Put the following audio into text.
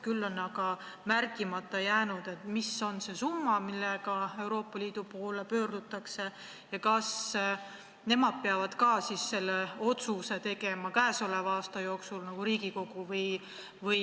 Küll on aga märkimata jäänud, mis on see summa, mille saamiseks Euroopa Liidu poole pöördutakse, ja kas nemad peavad ka selle otsuse tegema käesoleva aasta jooksul nagu Riigikogu.